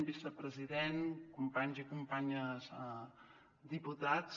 vicepresident companys i companyes diputats